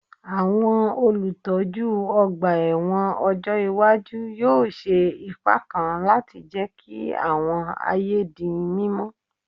Àwọn olùtọ́jú ọgbà ẹ̀wọ̀n ọjọ́ iwájú yóò ṣe ipa kan láti jẹ́ kí àwọn ààyè di mímọ́